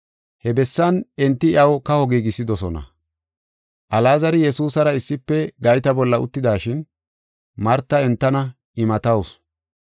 He bessan enti iyaw kaho giigisidosona. Alaazari Yesuusara issife gayta bolla uttidashin, Marti entana imatawusu.